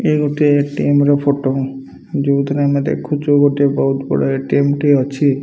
ଇଏ ଗୋଟିଏ ଏ_ଟି_ଏମ ର ଫଟୋ ଯଉଥରେ ଆମେ ଦେଖୁଚୁ ଗୋଟେ ବହୁତ ବଡ଼ ଏ_ଟି_ଏମ ଟେ ଅଛି।